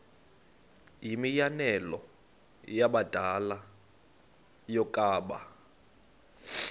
yimianelo yabadala yokaba